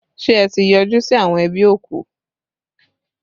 Ṣé ẹ ti yọjú sí àwọn ẹbí òkú?